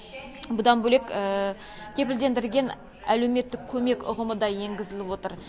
бұдан бөлек кепілдендірілген әлеуметтік көмек ұғымы да енгізіліп отыр